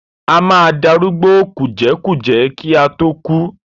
A máa darúgbó kùjẹ́kùjẹ́ kí a tó kú.